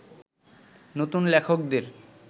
নতুন লেখকদের